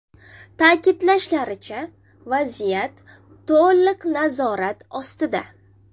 Ta’kidlashlaricha, vaziyat to‘liq nazorat ostida.